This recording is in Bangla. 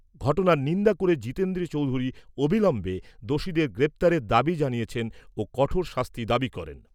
ঘটনার নিন্দা করে জিতেন্দ্র চৌধুরী অবিলম্বে দোষীদের গ্রেপ্তারের দাবি জানিয়েছেন ও কঠোর শাস্তি দাবি করেন।